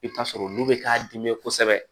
I bɛ t'a sɔrɔ olu bɛ k'a dimi kosɛbɛ